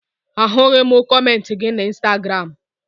Ahụghị m kọmentị gị na Ịnstagram